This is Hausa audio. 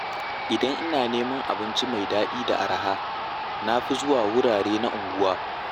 Idan ina neman abinci mai daɗi da araha na fi zuwa wurare na unguwa.